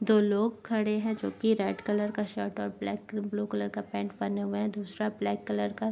दो लोग खड़े है जो कि रेड कलर का शर्ट और ब्लैक ब्लू कलर का पैंट पहने हुए है दूसरा ब्लैक कलर का--